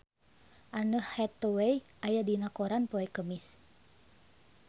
Anne Hathaway aya dina koran poe Kemis